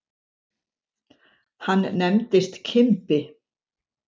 Hann nefndist Kimbi.